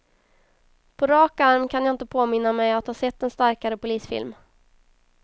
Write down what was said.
På rak arm kan jag inte påminna mig att ha sett en starkare polisfilm.